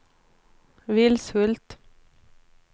Vilshult